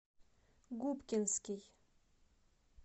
губкинский